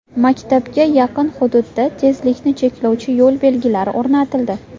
Maktabga yaqin hududga tezlikni cheklovchi yo‘l belgilari o‘rnatildi.